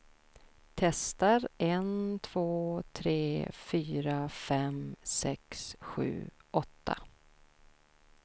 Testar en två tre fyra fem sex sju åtta.